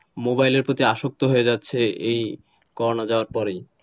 মোবাইলের প্রতি আসক্ত হয়ে যাচ্ছে এই করোনা যাওয়ার পরেই,